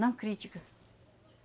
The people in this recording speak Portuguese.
Não crítica.